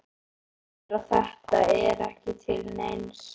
Sér að þetta er ekki til neins.